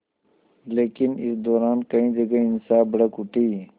लेकिन इस दौरान कई जगह हिंसा भड़क उठी